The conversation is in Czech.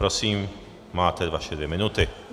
Prosím, máte své dvě minuty.